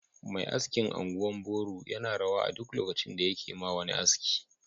Mai askin anguwan Boru yana rawa a duk lokaci da yakema wani aski